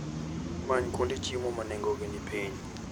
Many kuonde chiemo ma nengogi ni piny.